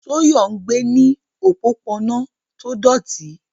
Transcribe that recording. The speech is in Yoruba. Toyo gbé ní òpópónà tó dọ̀tí.